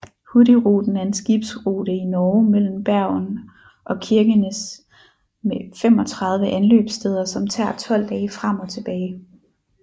Hurtigruten er en skibsrute i Norge mellem Bergen og Kirkenes med 35 anløbssteder som tager 12 dage frem og tilbage